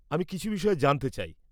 -আমি কিছু বিষয়ে জানতে চাই।